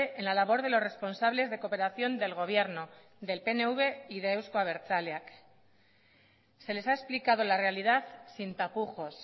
en la labor de los responsables de cooperación del gobierno del pnv y de euzko abertzaleak se les ha explicado la realidad sin tapujos